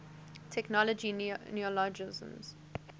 technology neologisms